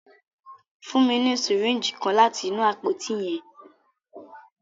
Fun mi ni syringe kan lati inu apoti yẹn.